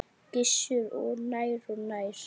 Gissur: Og nær og nær?